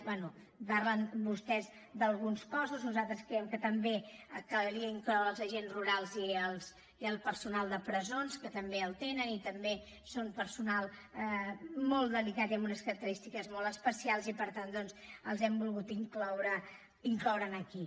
bé parlen vostès d’alguns cossos nosaltres creiem que també calia incloure hi els agents rurals i el personal de presons que també les tenen i també són personal molt delicat i amb unes característiques molt especials i per tant doncs els hem volgut incloure aquí